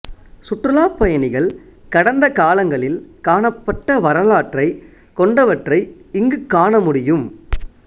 சுற்றுலாப்பயணிகள் கடந்த காலங்களில் காணப்பட்ட வரலாற்றைக் கொண்டவற்றை இங்கு காண முடியும்